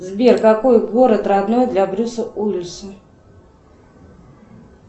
сбер какой город родной для брюса уиллиса